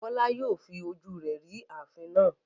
Bola yóò fi ojú rẹ̀ rí ààfin náà.